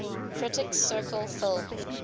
critics circle film